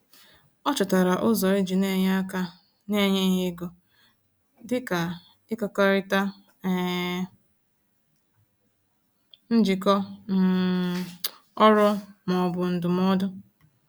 Ọ chọtara ụzọ iji n'enye aka na-enyeghị ego, dịka ịkekọrịta um njikọ um ọrụ ma ọ bụ ndụmọdụ.